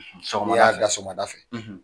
Sɔrɔla n'i y'a soɔgɔmada fɛ,